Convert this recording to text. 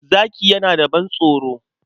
Zaki yana da ban-tsoro.